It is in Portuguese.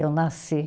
Eu nasci.